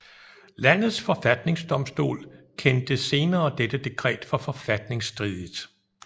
Landets forfatningsdomstol kendte senere dette dekret for forfatningsstridigt